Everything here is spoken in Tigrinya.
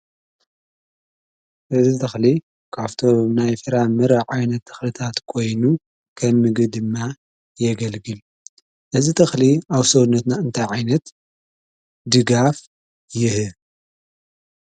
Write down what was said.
እዚ ተክሊ ካብቶም ናይ ፍራምረ ዓይነት ተክልታት ኮይኑ ከም ምግቢ ድማ የገልግል፡፡ እዚ ተክሊ ኣብ ሰውነትና እንታይ ዓይነት ድጋፍ ይህብ?